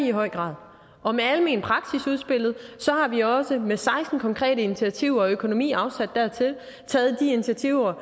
i høj grad og med almen praksis udspillet har vi også med seksten konkrete initiativer og økonomien afsat dertil taget de initiativer